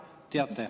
Teate.